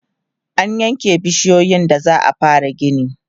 an yanke bishiyoyin da za'a fara gini